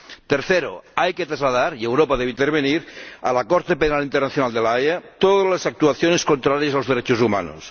Tercero hay que trasladar —y Europa debe intervenir— a la Corte Penal Internacional de La Haya, todas las actuaciones contrarias a los derechos humanos.